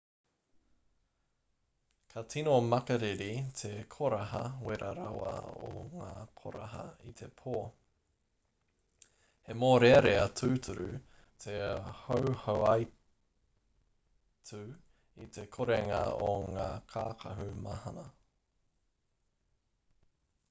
ka tino makariri te koraha wera rawa o ngā koraha i te pō he mōrearea tūturu te hauhauaitu i te korenga o ngā kākahu mahana